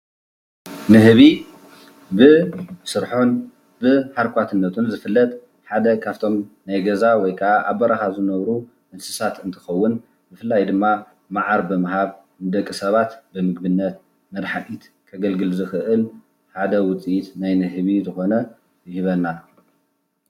ንህቢ ብስርሑን ብሃርኳትነቱን ዝፍለጥ ሓደ ካፍቶም ናይ ገዛ ወይካኣ ኣብ በረካ ዝነብሩ እንስሳ እንትኸውን ብፍላይ ድማ ማዓር ብምሃብ ንደቂ ሰባት ብምግብነት መድሃኒት ከገልግል ዝክእል ሓደ ውፂኢት ናይ ንህቢ ዝኮነ ይህበና።